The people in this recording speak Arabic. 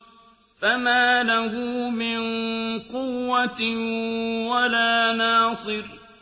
فَمَا لَهُ مِن قُوَّةٍ وَلَا نَاصِرٍ